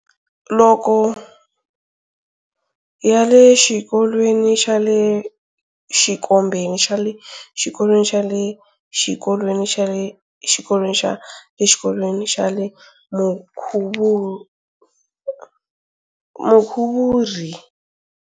Loko ya le xikolweni xa le xikombeni xa le xikolweni xa le xikolweni xa le xikolweni xa le xikolweni xa le Mukhuvuri.